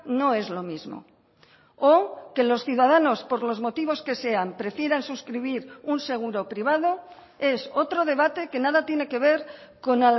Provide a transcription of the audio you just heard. no es lo mismo o que los ciudadanos por los motivos que sean prefieran suscribir un seguro privado es otro debate que nada tiene que ver con